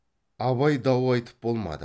абай дау айтып болмады